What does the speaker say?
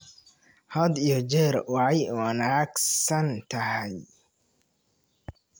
Had iyo jeer way wanaagsan tahay.